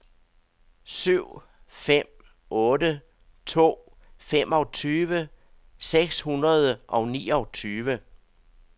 syv fem otte to femogtyve seks hundrede og niogtyve